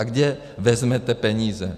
A kde vezmete peníze?